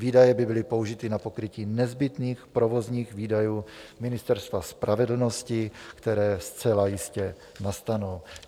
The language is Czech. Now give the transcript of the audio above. Výdaje by byly použity na pokrytí nezbytných provozních výdajů Ministerstva spravedlnosti, které zcela jistě nastanou.